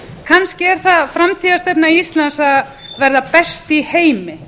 kannski er það framtíðarstefna íslands að verða best í heimi